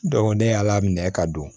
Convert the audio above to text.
ne y'ala minɛ ka don